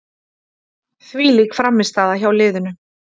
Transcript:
Þvílík frammistaða hjá liðinu.